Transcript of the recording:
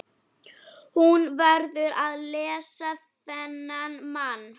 Hún verður að leysa þennan mann.